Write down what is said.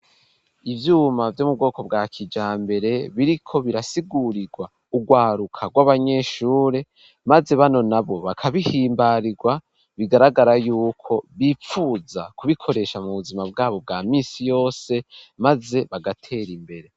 ivyuma vyo mu bwoko bwa kijambere biriko birasigurirwa urwaruka rw'abanyeshuri maze bano nabo bakabihimbarirwa bigaragara yuko bipfuza kubikoresha mu buzima bwabo bwa misi yose maze bagatera imbere.